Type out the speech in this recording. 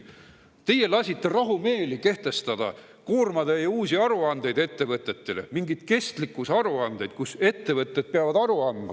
Teie lasite rahumeeli kehtestada koormatäie uusi aruandeid ettevõtetele, mingeid kestlikkusaruandeid, ettevõtted peavad aru andma.